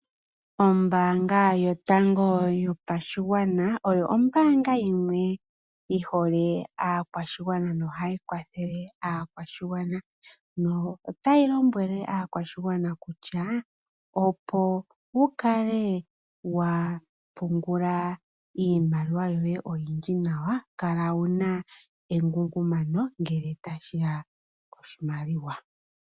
Ombaanga yotango yopashigwana, oyo ombaanga yimwe yi hole aakwashigwana no hayi kwathele aakwashigwana, no tayi lombwele aakwashigwana kutya opo wu kale wa pungula iimaliwa yoye oyindji nawa, kala wuna engungumano ngele tashi ya poshimaliwa .